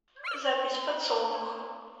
запись подсолнух